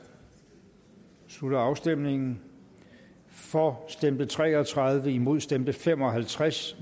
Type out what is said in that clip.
slutter afstemningen for stemte tre og tredive imod stemte fem og halvtreds